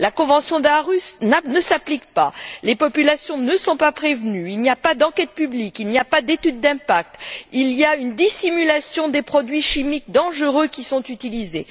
La convention d'Aarhus ne s'applique pas, les populations ne sont pas prévenues, il n'y a pas d'enquête publique, il n'y a pas d'étude d'impact, il y a une dissimulation des produits chimiques dangereux qui sont utilisés.